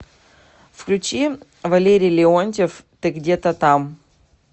включи валерий леонтьев ты где то там